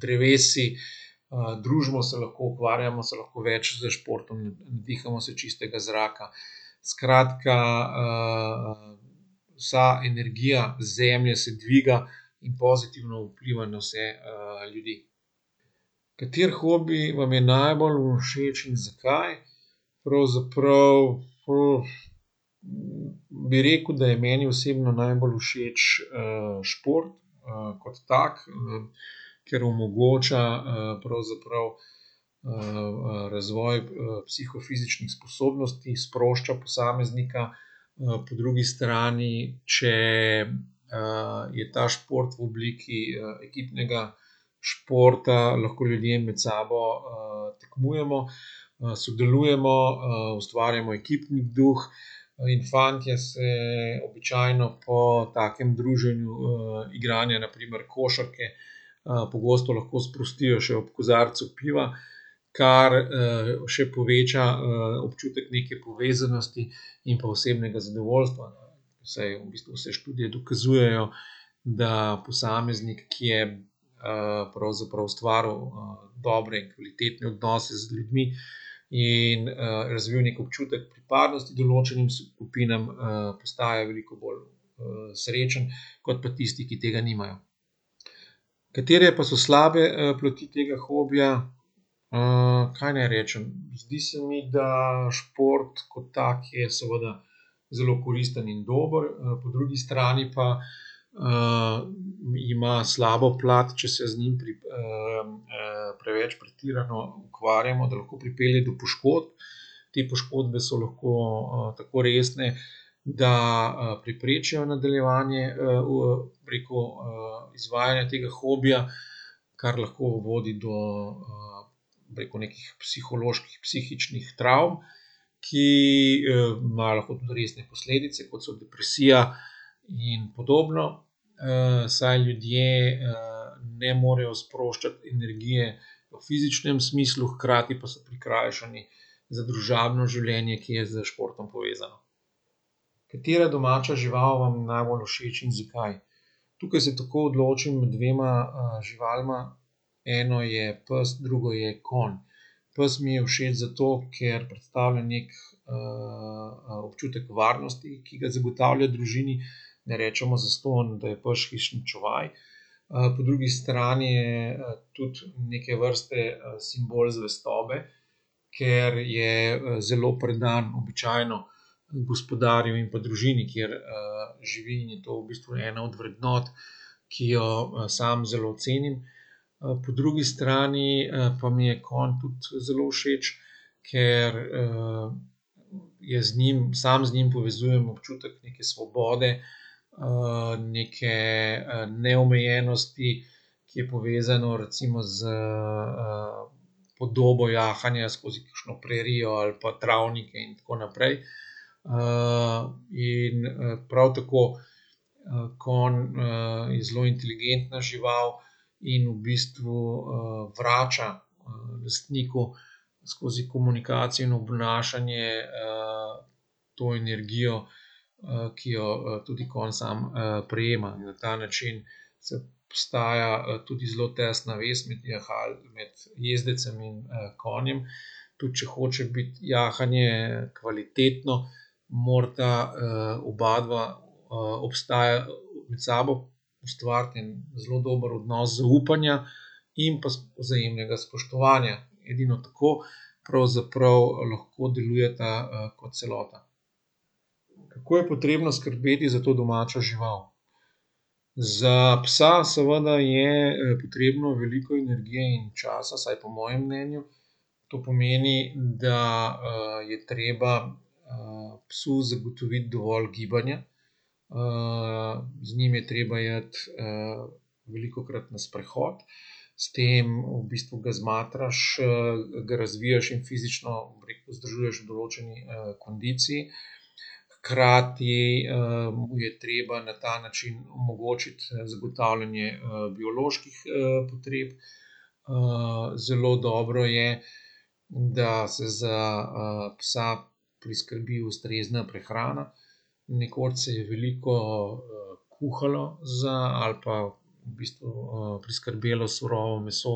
drevesi. Družimo se lahko, ukvarjamo se lahko več s športom, nadihamo se čistega zraka, skratka, vsa energija zemlje se dviga in pozitivno vpliva na vse, ljudi. Kateri hobi vam je najbolj všeč in zakaj? Pravzaprav, bi rekel, da je meni osebno najbolj všeč, šport, kot tak, ker omogoča, pravzaprav, razvoj psihofizičnih spodobnosti, sprošča posameznika, po drugi strani, če, je ta šport v obliki, ekipnega športa, lahko ljudje med sabo, tekmujemo, sodelujemo, ustvarjamo ekipni duh, in fantje se običajno po takem druženju, igranja na primer košarke, pogosto lahko sprostijo še ob kozarcu piva, kar, še poveča, občutek neke povezanosti in pa osebnega zadovoljstva. Saj v bistvu vse študije dokazujejo, da posameznik, ki je, pravzaprav ustvaril, dobre in kvalitetne odnose z ljudmi in, razvil neki občutek pripadnosti določenim skupinam, postaja veliko bolj, srečen kot pa tisti, ki tega nimajo. Katere pa so slabe, plati tega hobija? kaj naj rečem. Zdi se mi, da šport kot tak je seveda zelo koristen in dober, po drugi strani pa, ima slabo plat, če se z njim preveč pretirano ukvarjamo, da lahko pripelje do poškodb. Te poškodbe so lahko tako resne, da, preprečijo nadaljevanje, bi rekel, izvajanja tega hobija, kar lahko vodi do, bi rekel, nekih psiholoških, psihičnih travm, ki, imajo lahko tudi resne posledice, kot so depresija in podobno. saj ljudje, ne morejo sproščati energije v fizičnem smislu, hkrati pa so prikrajšani za družabno življenje, ki je s športom povezano. Katera domača žival vam je najbolj všeč in zakaj? Tukaj se takoj odločim med dvema živalma eno je pes, drugo je konj. Pes mi je všeč zato, ker predstavlja neki, občutek varnosti, ki ga zagotavlja družini, ne rečemo zastonj, da je pač hišni čuvaj, po drugi strani je, tudi neke vrste, simbol zvestobe, ker je, zelo predan običajno, gospodarju in pa družini, kjer, živi in je to v bistvu ena od vrednot, ki jo, sam zelo cenim, po drugi strani, pa mi je konj tudi zelo všeč, ker, je z njim, sam z njim povezujem občutek neke svobode, neke, neomejenosti, ki je povezano recimo s, podobo jahanja, skozi kakšno prerijo ali pa travnike in tako naprej, in, prav tako, konj, je zelo inteligentna žival in v bistvu, vrača, lastniku skozi komunikacijo in obnašanje, to energijo, ki jo, tudi konj sam, prejema in na ta način se obstaja, tudi zelo tesna vez med med jezdecem in, konjem. Tudi če hoče biti jahanje kvalitetno, morata, obadva, med sabo ustvariti en zelo dober odnos zaupanja in pa vzajemnega spoštovanja. Edino tako pravzaprav lahko delujeta kot celota. Kako je potrebno skrbeti za to domačo žival? Za psa seveda je potrebno veliko energije in časa, vsaj po mojem mnenju. To pomeni, da, je treba, psu zagotoviti dovolj gibanja, z njim je treba iti, velikokrat na sprehod, s tem v bistvu ga zmatraš, ga razviješ in fizično vzdržuješ v določeni, kondiciji. Hkrati, mu je treba na ta način omogočiti, zagotavljanje, bioloških, potreb. zelo dobro je, da se za, psa priskrbi ustrezna prehrana. Nekoč se je veliko, kuhalo za ali pa v bistvu, priskrbelo surovo meso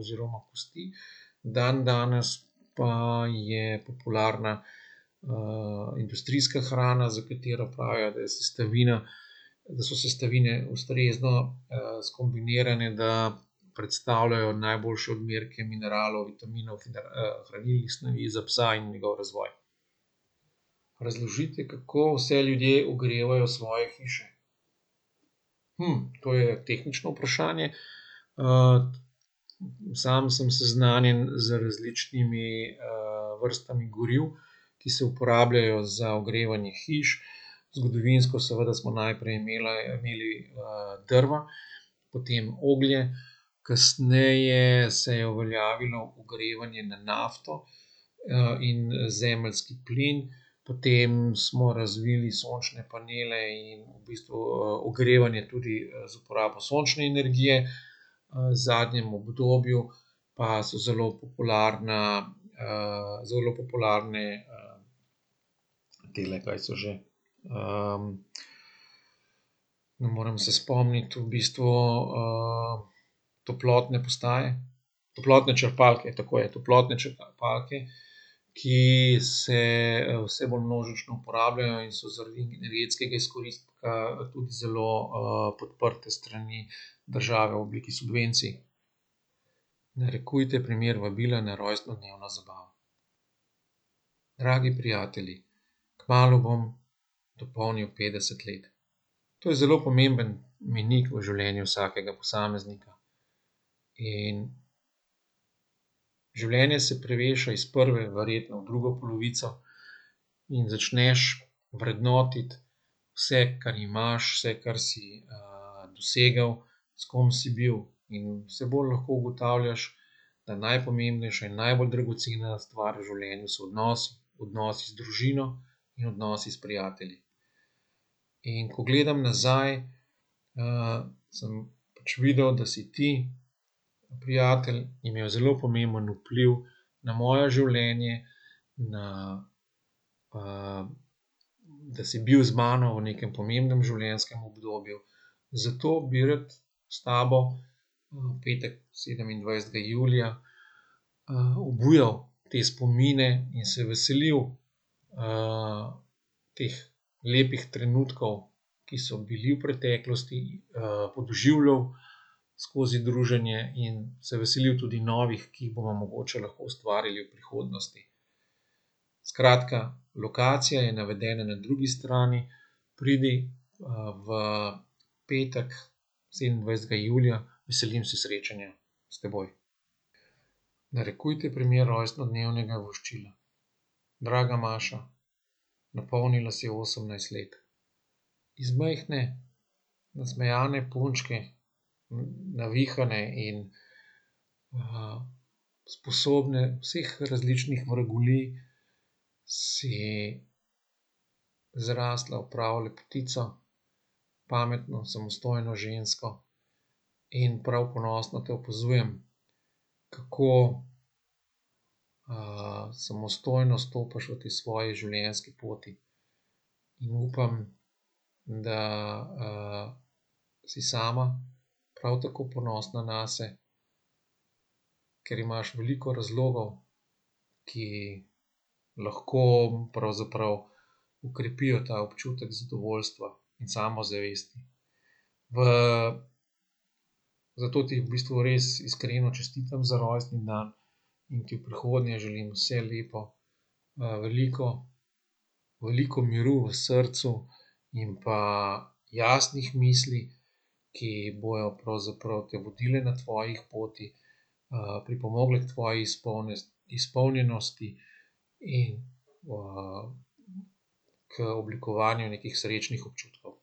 oziroma kosti. Dandanes pa je popularna, industrijska hrana, za katero pravijo, da je sestavina, da so sestavine ustrezno, skombinirane, da predstavljajo najboljše odmerke mineralov, vitaminov in hranilnih snovi za psa in njegov razvoj. Razložite, kako vse ljudje ogrevajo svoje hiše. to je tehnično vprašanje, sam sem seznanjen z različnimi, vrstami goriv, ki se uporabljajo za ogrevanje hiš. Zgodovinsko seveda smo najprej imela, imeli, drva, potem oglje, kasneje se je uveljavilo ogrevanje na nafto, in, zemeljski plin, potem smo razvili sončne panele in v bistvu, ogrevanje tudi, z uporabo sončne energije. v zadnjem obdobju pa so zelo popularna, zelo popularne, tele, kaj so že, ne moram se spomniti, v bistvu, topotne postaje, toplotne črpalke, tako je, toplotne črpalke, ki se, vse bolj množično uporabljajo in so zaradi energetskega izkoristka tudi zelo, podprte s strani države v obliki subvencij. Narekujte primer vabila na rojstnodnevno zabavo. Dragi prijatelji, kmalu bom dopolnil petdeset let. To je zelo pomemben mejnik v življenju vsakega posameznika in življenje se preveša iz prve verjetno v drugo polovico in začneš vrednotiti vse, kar imaš, vse, kar si, dosegel, s kom si bil, in vse bolj lahko ugotavljaš, da najpomembnejše in najbolj dragocena stvar v življenju so odnosi. Odnosi z družino in odnosi s prijatelji. In ko gledam nazaj, sem pač videl, da si ti, prijatelj, imel zelo pomemben vpliv na moje življenje, na, da si bil z mano v nekam pomembnem življenjskem obdobju, zato bi rad s tabo, v petek sedemindvajsetega julija, obujal te spomine in se veselil, teh lepih trenutkov, ki so bili v preteklosti, podoživljal skozi druženje in se veselil tudi novih, ki jih bomo mogoče lahko ustvarili v prihodnosti. Skratka, lokacija je navedena na drugi strani, pridi, v petek, sedemindvajsetega julija. Veselim se srečanja s teboj. Narekujte primer rojstnodnevnega voščila. Draga Maša, napolnila si osemnajst let. Iz majhne, nasmejane punčke, navihane in, sposobne vseh različnih vragolij si zrasla v pravo lepotico, pametno, samostojno žensko in prav ponosno te opazujem, kako, samostojno stopaš po tej svoji življenjski poti. In upam, da, si sama prav tako ponosna nase, ker imaš veliko razlogov, ki lahko pravzaprav okrepijo ta občutek zadovoljstva in samozavesti. V, zato ti v bistvu iskreno čestitam za rojstni dan in ti v prihodnje želim vse lepo, veliko, veliko miru v srcu in pa jasnih misli, ki bojo pravzaprav te vodile na tvojih poteh, pripomogle k tvoji izpolnjenosti in, k oblikovanju nekih srečnih občutkov.